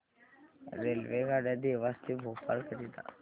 रेल्वेगाड्या देवास ते भोपाळ करीता